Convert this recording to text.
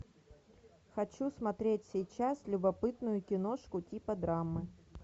хочу смотреть сейчас любопытную киношку типа драмы